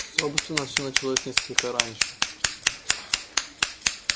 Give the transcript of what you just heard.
собственно всё началось несколько раньше